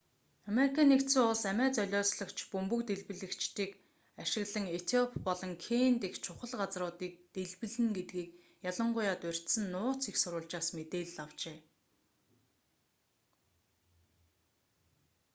ану амиа золиослогч бөмбөг дэлбэлэгчдийг ашиглан этиоп болон кени дэх чухал газар”-уудыг дэлбэлнэ гэдгийг ялангуяа дурьдсан нууц эх сурвалжаас мэдээлэл авчээ